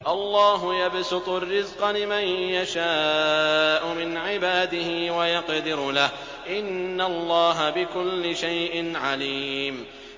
اللَّهُ يَبْسُطُ الرِّزْقَ لِمَن يَشَاءُ مِنْ عِبَادِهِ وَيَقْدِرُ لَهُ ۚ إِنَّ اللَّهَ بِكُلِّ شَيْءٍ عَلِيمٌ